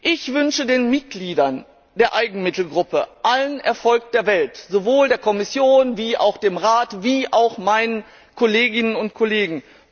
Ich wünsche den Mitgliedern der Eigenmittelgruppe allen Erfolg der Welt sowohl der Kommission als auch dem Rat und meinen Kolleginnen und Kollegen.